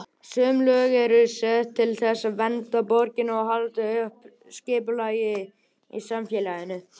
Sum lög eru sett til þess að vernda borgarana og halda uppi skipulagi í samfélaginu.